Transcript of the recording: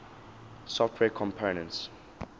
software components